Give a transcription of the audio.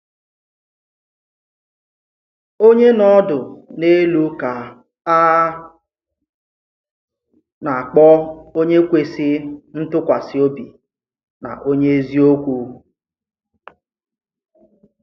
Onye nọ ọdụ̀ n’èlú ka a na-akpọ̀ onye kwesì ntụkwàsị obi na onye èzì-òkwú.